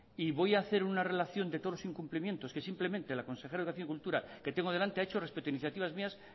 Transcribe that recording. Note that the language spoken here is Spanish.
y voy a hacer una relación de todos los incumplimientos que simplemente la consejera de agricultura que la tengo delante ha hecho respecto a iniciativas mías